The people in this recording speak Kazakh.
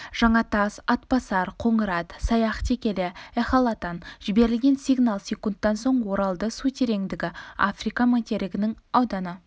жаңатас атбасар қоңырат саяқ текелі эхолоттан жіберілген сигнал секундтан соң оралды су тереңдігі африка материгінің ауданы